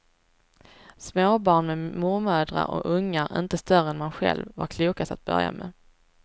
Småbarn med mormödrar och ungar inte större än man själv, var klokast att börja med.